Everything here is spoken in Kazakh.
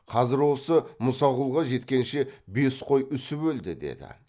қазір осы мұсақұлға жеткенше бес қой үсіп өлді деді